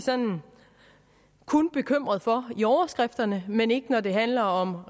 kun bekymret for i overskrifterne men ikke når det handler om